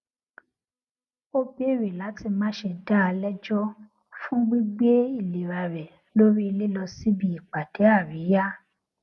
ó bèrè láti má ṣe dá a lẹjọ fún gbígbé ìlera rẹ lórí lílọ síbi ìpàdé àríyá